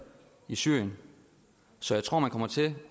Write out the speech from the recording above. i syrien så jeg tror man kommer til